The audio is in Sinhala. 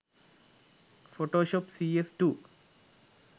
photoshop cs2